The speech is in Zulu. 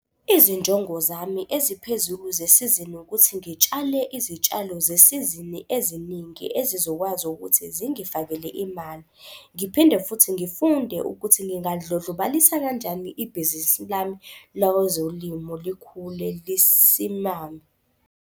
Izinjongo zami eziphezulu zesizini ukuthi ngitshale izitshalo zesizini eziningi ezizokwazi ukuthi zingifakele imali. Ngiphinde futhi ngifunde ukuthi ngingalidlodlobalisa kanjani ibhizinisi lami lozolimo likhule lesimame.